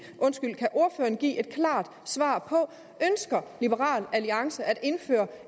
et klart svar ønsker liberal alliance at indføre